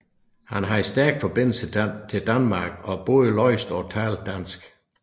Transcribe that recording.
Han havde stærke forbindelser til Danmark og både læste og talte dansk